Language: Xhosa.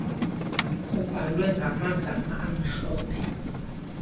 kubhalwe ngamagama amhlophe